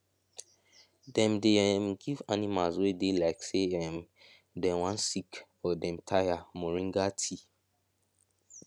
dem dey um give animals wey dey like say um dem wan sick or dem tire moringa tea